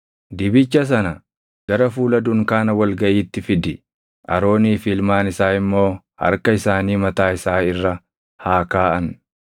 “Dibicha sana gara fuula dunkaana wal gaʼiitti fidi; Aroonii fi ilmaan isaa immoo harka isaanii mataa isaa irra haa kaaʼan.